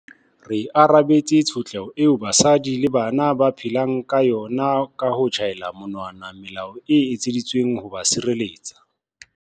Re arabetse tshotleho eo basadi le bana ba phelang ka yona ka ho tjhaela monwana melao e etseditsweng ho ba sireletsa.